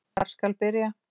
Hvar skal byrja.